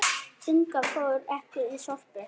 Inga fór ekki í Sorpu.